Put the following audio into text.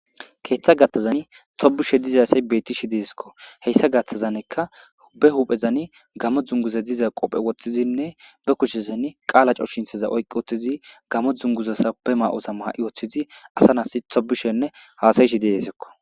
keeththa gathazani tobushe dizasay betti shi desikko heyssa gathazanekka be huphezani gamo dzunguze diza qophe woththizinne be kuchezani qaala co shinthaza oyqi woththizi gamo dzunguzasa be ma7osa maha7i wooththizi asa nas tobushenne haasayishi deesikko